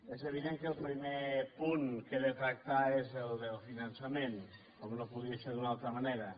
és evident que el primer punt que he de tractar és el del finançament com no podia ser d’una altra manera